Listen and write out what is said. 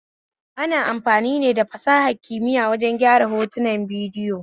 Ana amfani da fasahar kimiya wajen gyara hoton bidiyo